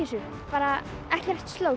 bara ekkert